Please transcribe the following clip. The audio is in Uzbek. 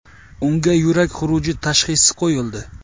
Unga yurak xuruji tashhisi qo‘yildi.